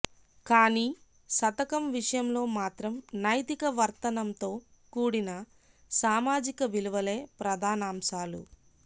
కానీ శతకం విషయంలో మాత్రం నైతిక వర్తనంతో కూడిన సామాజిక విలువలే ప్రధానాంశాలు